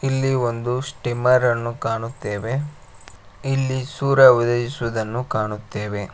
ಇಲ್ಲಿ ಒಂದು ಸ್ಟೀಮರನ್ನು ಕಾಣುತ್ತೇವೆ ಇಲ್ಲಿ ಸೂರ್ಯ ಉದಾಯಿಸುವುದನ್ನು ಕಾಣುತ್ತೇವೆ.